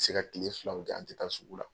An bɛ se ka kile filaw kɛ an tɛ taa sugu la.